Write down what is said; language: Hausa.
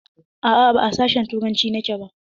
A'a, ba a sashin turanci nake ba.